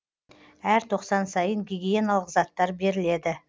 әр тоқсан сайын гигиеналық заттар беріледі